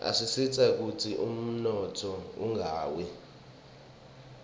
asisita kutsi umnotfo ungawi